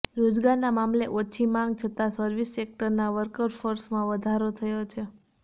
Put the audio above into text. રોજગારના મામલે ઓછી માંગ છતાં સર્વિસ સેક્ટરના વર્કફોર્સમાં વધારો થયો છે